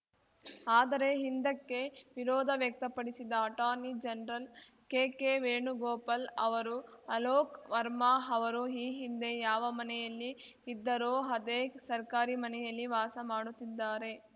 ಆದರೆ ಹಿಂದಕ್ಕೆ ವಿರೋಧ ವ್ಯಕ್ತಪಡಿಸಿದ ಅಟಾರ್ನಿ ಜನರಲ್‌ ಕೆಕೆ ವೇಣುಗೋಪಾಲ್‌ ಅವರು ಅಲೋಕ್‌ ವರ್ಮಾ ಅವರು ಈ ಹಿಂದೆ ಯಾವ ಮನೆಯಲ್ಲಿ ಇದ್ದರೋ ಅದೇ ಸರ್ಕಾರಿ ಮನೆಯಲ್ಲಿ ವಾಸ ಮಾಡುತ್ತಿದ್ದಾರೆ